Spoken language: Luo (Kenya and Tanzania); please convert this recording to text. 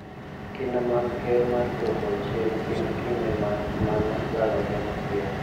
Kinda mag Ker mar dwoko chien pim kinde ma mano dwarore mapiyo,